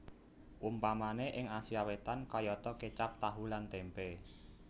Umpamané ing Asia Wétan kayata kécap tahu lan témpé